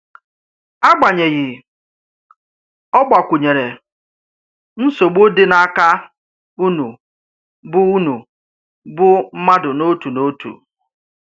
Agbanyeghị, ọ gbàkwụ̀nyèrè: Nsogbù dị n’ákà únù bụ̀ únù bụ̀ mmádù n’òtù n’òtù.